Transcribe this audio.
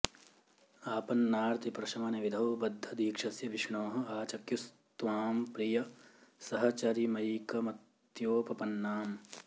आपन्नार्ति प्रशमन विधौ बद्ध दीक्षस्य विष्णोः आचख्युस्त्वां प्रिय सहचरिमैकमत्योपपन्नाम्